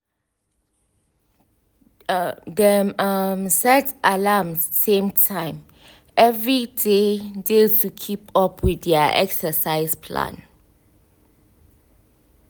um] dem um set alarm same time every day day to keep up with their exercise plan